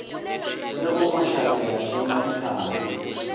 le go mashabela le madihlabe